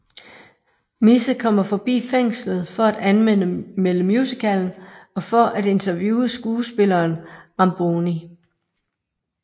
Misse kommer forbi fængslet for at anmelde musicalen og for at interviewe skuespilleren Ramboni